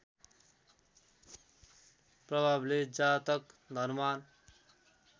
प्रभावले जातक धनवान्